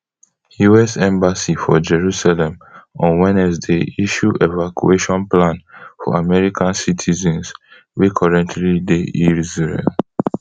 us embassy for jerusalem on wednesday issue evacuation plan for american citizens wey currently dey israel